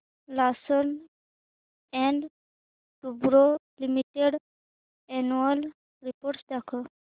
Larsen and टुर्बो limited annual report दाखव